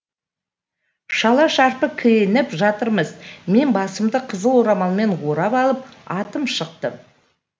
шала шарпы киініп жатырмыз мен басымды қызыл орамалмен орап алып атып шықтым